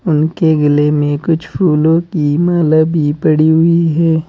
उनके गले में कुछ फूलों की माला भी पड़ी हुई हैं।